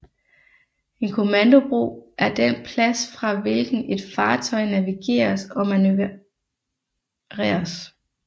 En kommandobro er den plads fra hvilken et fartøj navigeres og manøvreres